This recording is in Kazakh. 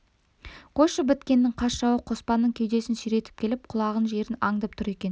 қойшы біткеннің қас жауы қоспанның кеудесін сүйретіп келіп құлаған жерін аңдып тұр екен